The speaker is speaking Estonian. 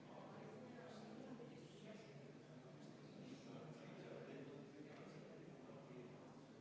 Ja alati on kohtunikel hea meelde tuletada, et see saab olema väga ränkraske ja väga kurnav.